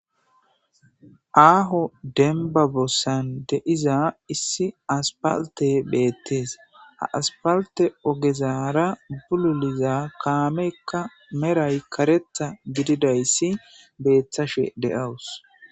aaho denbabossan de7iza issi aspalte beettees aaspalte ogezara bululiza kaamekka meray karetha gididayssi beeththashe de7awus